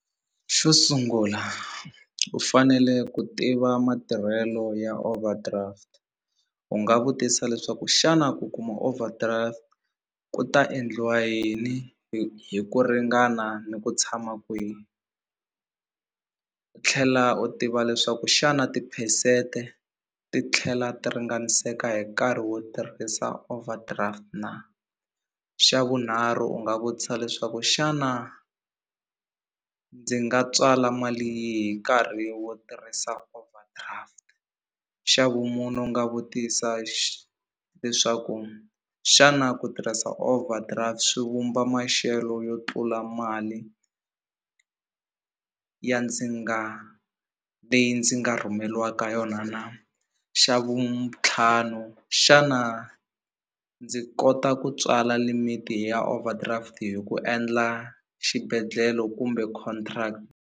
Xo sungula u fanele ku tiva matirhelo ya overdraft u nga vutisa leswaku xana ku kuma overdraft ku ta endliwa yini hi ku ringana ni ku tshama kwihi u tlhela u tiva leswaku xana tiphesente ti tlhela ti ringaniseka hi nkarhi wo tirhisa overdraft na xa vunharhu u nga vutisa leswaku xana ndzi nga tswala mali yi nkarhi wo tirhisa overdraft xa vumune u nga vutisa leswaku xana ku tirhisa overdraft swi vumba maxelo yo tlula mali ya ndzi nga leyi ndzi nga rhumeliwaka yona na xa vu ntlhanu xana ndzi kota ku tswala limit ya overdraft hi ku endla xibedhlele kumbe contract.